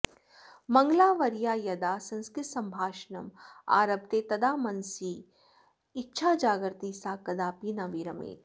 मङ्गलावर्या यदा संस्कृतसम्भाषणम् आरभते तदा मनसि इच्छा जागर्ति सा कदापि न विरमेत्